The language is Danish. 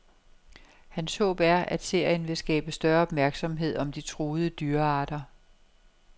Hans håb er, at serien vil skabe større opmærksomhed om de truede dyrearter.